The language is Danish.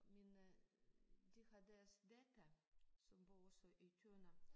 Men øh de har deres datter som bor også i Tønder